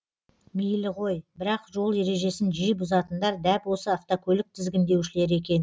мейлі ғой бірақ жол ережесін жиі бұзатындар дәп осы автокөлік тізгіндеушілері екен